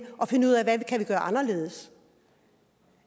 og finde ud af hvad man kan gøre anderledes